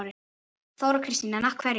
Þóra Kristín: En af hverju?